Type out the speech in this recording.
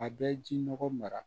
A bɛ ji nɔgɔ mara